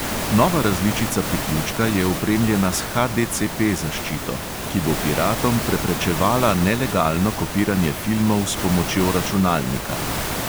Nova različica priključka je opremljena s HDCP zaščito, ki bo piratom preprečevala nelegalno kopiranje filmov s pomočjo računalnika.